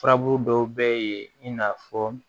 Furabulu dɔw bɛ yen i n'a fɔ